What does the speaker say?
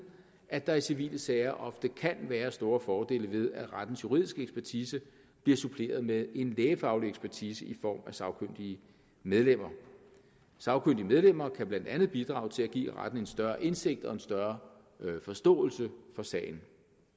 at der i civile sager ofte kan være store fordele ved at rettens juridiske ekspertise bliver suppleret med en lægefaglig ekspertise i form af sagkyndige medlemmer sagkyndige medlemmer kan blandt andet bidrage til at give retten en større indsigt i og en større forståelse for sagen